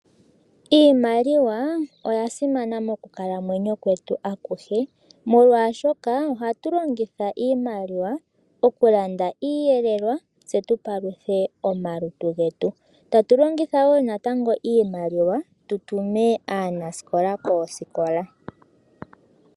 Iimaliwa oya simana monakalamwenyo yetu ayihe molwashoka ohatu longitha iimaliwa okulanda iiyelelwa tse tu paluthe omalutu getu tatu longitha wo natango iimaliwa tutume aanasikola koosikola.